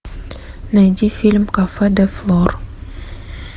найди фильм кафе де флор